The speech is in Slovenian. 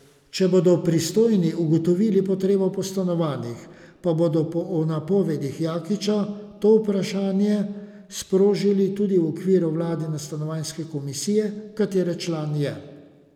Če bodo pristojni ugotovili potrebo po stanovanjih, pa bodo po napovedih Jakiča to vprašanje sprožili tudi v okviru vladne stanovanjske komisije, katere član je.